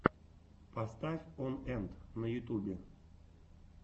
поставь он энт на ютюбе